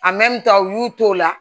u y'u to o la